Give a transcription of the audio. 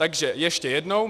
Takže ještě jednou.